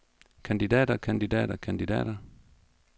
kandidater kandidater kandidater